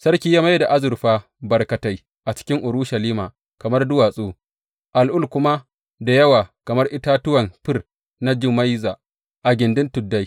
Sarki ya mai da azurfa barkatai a cikin Urushalima kamar duwatsu, al’ul kuma da yawa kamar itatuwan fir na jumaiza a gindin tuddai.